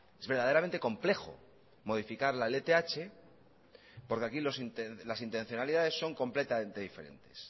es verdaderamente complejo modificar la lth porque aquí las intencionalidades son completamente diferentes